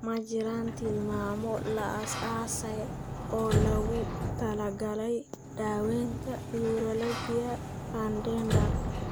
Ma jiraan tilmaamo la aasaasay oo loogu talagalay daaweynta neuralgia pudendal.